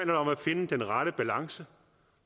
det om at finde den rette balance